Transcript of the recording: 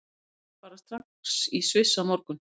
Við vinnum bara strax í Sviss á morgun.